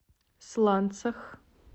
сланцах